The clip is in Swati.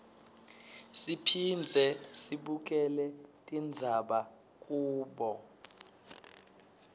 siphindze sibukele tindzaba kubo